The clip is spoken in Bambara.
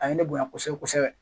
A ye ne bonya kosɛbɛ kosɛbɛ